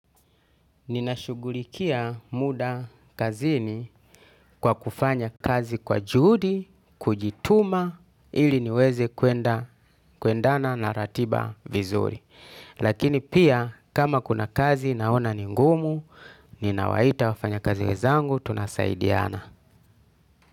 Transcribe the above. Ninashugulikia muda kazini kwa kufanya kazi kwa juhudi, kujituma ili niweze kuendana na ratiba vizuri. Lakini pia kama kuna kazi naona ningumu, ninawaita wafanya kazi wezangu, tunasaidiana.